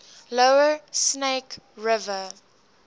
lower snake river